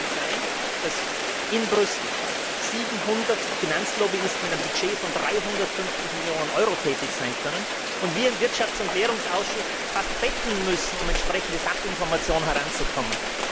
Wie kann es denn sein, dass in Brüssel 700 Finanzlobbyisten mit einem Budget von 350 Millionen Euro tätig sein können, und wir im Wirtschafts und Währungsausschuss fast betteln müssen, um an entsprechende Sachinformationen heranzukommen?